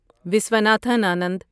Viswanathan Anand